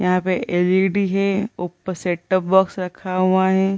यहाँ पे एल.इ.डी. ही ऊपर सेट टॉप बॉक्स रखा हुआ है ।